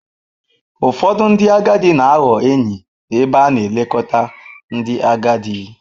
Ụfọdụ ndị agadi na-aghọ enyi n'ebe a na-elekọta ndị agadi.